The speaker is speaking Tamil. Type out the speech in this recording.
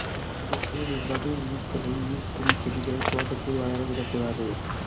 அதுபோல இவ்வகை ஈக்களை ஈர்க்கும் செடிகளையும் தோட்டத்தில் வளர விடக்கூடாது